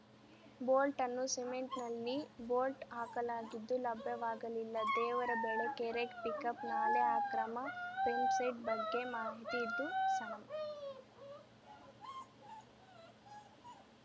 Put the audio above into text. ಬೋಲ್ಟ್‌ನ್ನು ಸಿಮೆಂಟ್‌ನಲ್ಲಿ ಬೋಲ್ಟ್‌ ಹಾಕಲಾಗಿದ್ದು ಲಭ್ಯವಾಗಲಿಲ್ಲ ದೇವರಬೆಳಕೆರೆ ಪಿಕಪ್‌ ನಾಲೆ ಅಕ್ರಮ ಪೆಂಪ್‌ಸೆಟ್‌ ಬಗ್ಗೆ ಮಾಹಿತಿ ಇದ್ದು ಸ ನಂ